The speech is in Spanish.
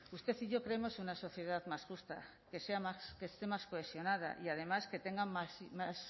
usted y yo creemos una sociedad más justa que sea más que esté más cohesionada y además que tenga más